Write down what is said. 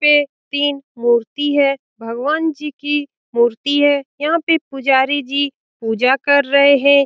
यहाँ पे तीन मूर्ति है भगवान जी की मूर्ति है यहाँ पे पुजारी जी पूजा कर रहे हैं ।